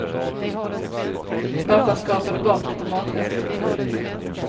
Pappa skrapade bort lite matrester från duken.